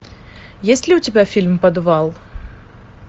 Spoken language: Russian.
есть ли у тебя фильм подвал